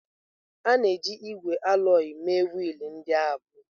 A na-eji ígwè alọyị mee wiil ndị ahụ.